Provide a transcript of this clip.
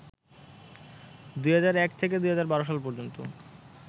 ২০০১ থেকে ২০১২ সাল পর্যন্ত